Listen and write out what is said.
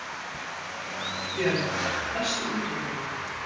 Björg, læstu útidyrunum.